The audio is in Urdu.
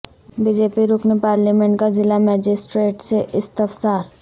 بی جے پی رکن پارلیمنٹ کا ضلع مجسٹریٹ سے استفسار